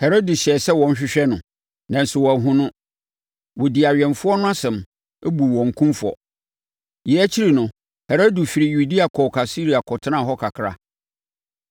Herode hyɛɛ sɛ wɔnhwehwɛ no, nanso wɔanhunu no. Wɔdii awɛmfoɔ no asɛm, buu wɔn kumfɔ. Yei akyi no, Herode firii Yudea kɔɔ Kaesarea kɔtenaa hɔ kakra.